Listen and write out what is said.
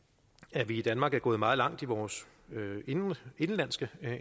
at vi i danmark er gået meget langt i vores indenlandske